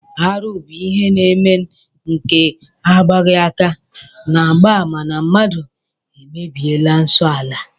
Arụ bụ ihe na-eme nke agbaghị aka na-agba àmà na mmadụ emebiela nsọ ala